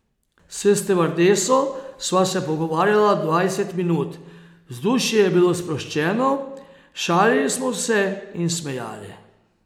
S stevardeso sva se pogovarjala dvajset minut, vzdušje je bilo sproščeno, šalili smo se in smejali.